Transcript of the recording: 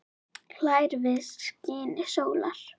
hlær við skini sólar